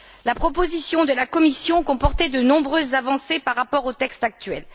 La proposition de la Commission comportait de nombreuses avancées par rapport au texte actuel.